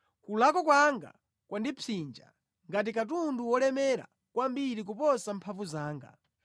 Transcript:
Kulakwa kwanga kwandipsinja ngati katundu wolemera kwambiri kuposa mphamvu zanga.